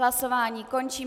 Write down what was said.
Hlasování končím.